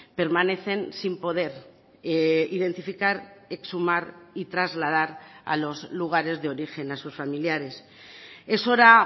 permanecen sin poder identificar exhumar y trasladar a los lugares de origen a sus familiares es hora